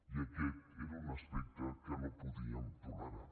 i aquest era un aspecte que no podíem tolerar